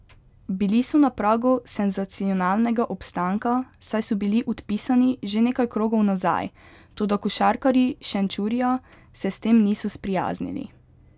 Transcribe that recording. Bili so na pragu senzacionalnega obstanka, saj so bili odpisani že nekaj krogov nazaj, toda košarkarji Šenčurja se s tem niso sprijaznili.